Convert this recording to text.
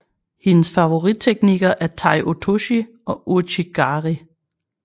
Hendes favoritteknikker er Tai Otoshi og Ouchi Gari